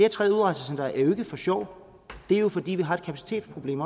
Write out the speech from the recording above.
tredje udrejsecenter er jo ikke for sjov det er fordi vi også har et kapacitetsproblem